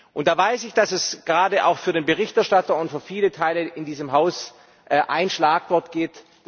Und da weiß ich, dass es gerade auch für den Berichterstatter und für viele Teile in diesem Haus ein Schlagwort gibt.